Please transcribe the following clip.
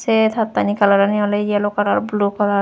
te tattani kalarani awle yellow kalar blue kalar.